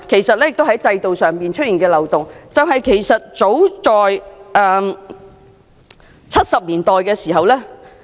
此外，制度上的另一漏洞其實早於1970年代已出現。